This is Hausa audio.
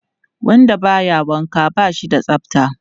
Wanda ba ya wanka ba shi da tsafta.